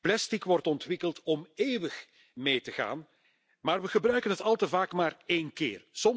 Plastic wordt ontwikkeld om eeuwig mee te gaan, maar we gebruiken het al te vaak maar één keer.